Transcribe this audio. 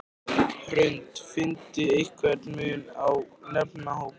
Hrund: Finnurðu einhvern mun eftir nemendahópum?